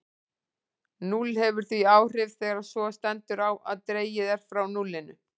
Núll hefur því áhrif þegar svo stendur á að dregið er frá núllinu.